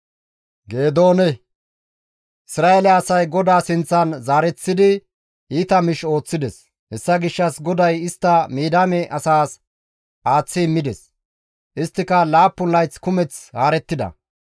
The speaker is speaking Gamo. Isra7eele asay GODAA sinththan zaareththidi iita miish ooththides; hessa gishshas GODAY istta Midiyaame asas aaththi immides; isttika laappun layth kumeth haarettida.